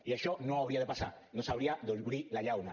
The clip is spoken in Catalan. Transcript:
i això no hauria de passar no s’hauria d’obrir la llauna